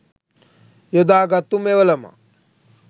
යොදා ගත්තු මෙවලමක්.